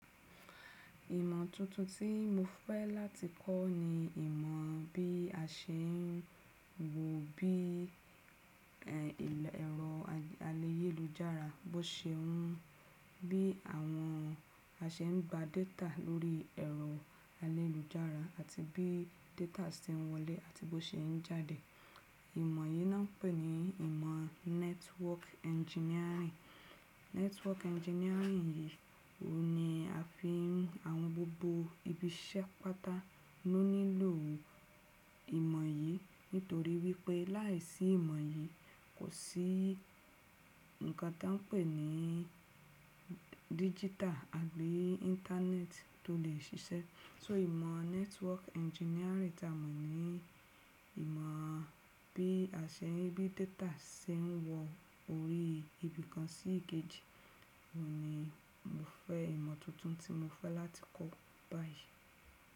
Ìmọ̀ tuntun tí mo fẹ́ láti kọ́ ni ìmọ̀ bí a ṣe ń wo bí ẹ̀rọ ayélujára bó ṣe ń, bí àwọn a ṣe ń gba data lórí ẹ̀rọ ayélujára àti bí data ṣe ń wọlé àti bó ṣe ń jáde. Ìmọ̀ yìí ni wọ́n ń pè ní ìmọ̀ network engineering. Network engineering yìí, òun ni a fi àwọn gbogbo ibiṣẹ́ pata. Ó nílò ìmọ̀ yìí nítorí wípé láìsí ìmọ̀ yìí kò sí ǹkan ta wọ́n ń pè ní digital àbí Íńtánẹ́ẹ̀tì tó lè ṣiṣẹ́. So ìmọ̀ network engineering ta mọ̀ ni ìmọ̀ bí a ṣe ń, bí data ṣe ń wọ orí ibi kan sí èkejì. Òun ni mo fẹ́ ìmọ̀ tuntun tí mo fẹ́ láti kọ́ báyìí.